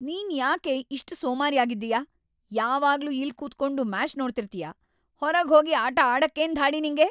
ನೀನ್ಯಾಕೆ ಇಷ್ಟ್ ಸೋಮಾರಿ ಆಗಿದ್ದೀಯ, ಯಾವಾಗ್ಲೂ ಇಲ್ಲ್ ಕೂತ್ಕೊಂಡು‌ ಮ್ಯಾಚ್ ನೋಡ್ತಿರ್ತೀಯ. ಹೊರಗ್‌ ಹೋಗಿ ಆಟ ಆಡಕ್ಕೇನ್‌ ಧಾಡಿ ನಿಂಗೆ?